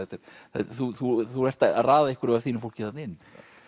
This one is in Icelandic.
þú þú þú ert að raða einhverju af þínu fólki þarna inn